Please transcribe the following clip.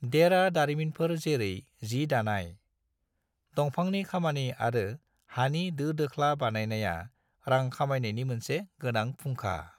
देरा दारिमिनफोर जेरै जि दानाय, दंफांनि खामानि आरो हानि दोदोख्ला बानायनाया रां खामायनायनि मोनसे गोनां फुंखा।